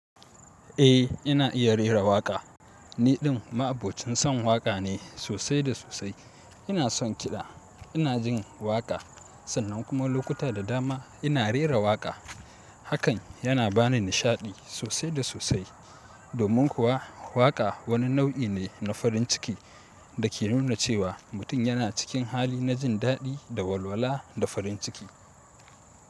Eh, ina iya rera waƙa. Niɗin ma'abocin son waƙa ne sosai da sosai. Ina son kiɗa, ina jin waƙa sannan kuma lokuta da dama ina rera waƙa. Hakan yana bani nishaɗi sosai da sosai. Domin kuwa waƙa wani nau'i ne na farin ciki da ke nuna cewa mutum yana cikin hali na jin daɗi da walwala da farin ciki.